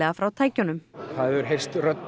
frá tækjunum það hefur heyrst rödd